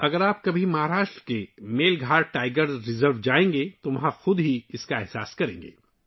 اگر آپ کبھی مہاراشٹر میں میل گھاٹ ٹائیگر ریزرو جائیں تو آپ خود اس کا تجربہ کر سکیں گے